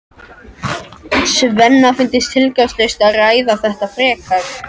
Svenna finnst tilgangslaust að ræða þetta frekar.